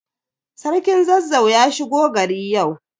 Sarkin Zazzau ya shigo gari yau.